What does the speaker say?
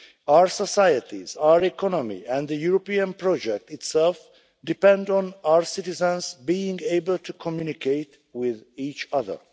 Our societies, our economy and the European project itself depend on our citizens being able to communicate with each other.